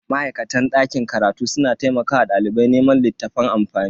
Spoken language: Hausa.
Ma'aikatan dakin karatu suna taimakawa dalibai neman littafan amfani.